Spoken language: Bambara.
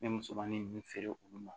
N bɛ musomanin ninnu feere olu ma